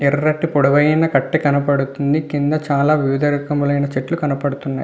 ఎర్రటి పొడవాటి కట్టే కనబడుతుంది. కింద వివిధ చెతూల్లు కనబడుతూ ఉన్నాయి.